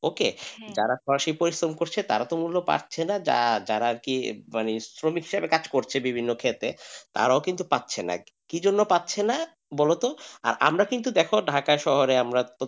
okay যারা পরিশ্রম করছে তারা তো মূল্য পাচ্ছে না যারা আর কি মানে শ্রমিকের কাজ করছে বিভিন্ন ক্ষেতে তারাও কিন্তু পাচ্ছে না কি জন্য পাচ্ছে না বলতো আমরা কিন্তু দেখো ঢাকা শহরে আমরা,